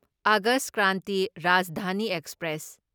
August Kranti Rajdhani express